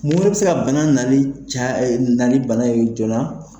Mun bɛ se ka bana naani bana jɔna